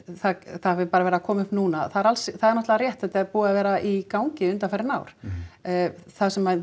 það hafi bara verið að koma upp núna það er náttúrulega rétt að þetta er búið að vera í gangi undanfarin ár það sem